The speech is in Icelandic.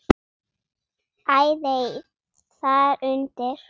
Æðey þar undir.